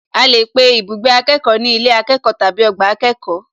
A lè pe ibùgbé akẹ́kọ̀ọ́ ní ilé akẹ́kọ̀ọ́ tàbí ọgbà akẹ́kọ̀ọ́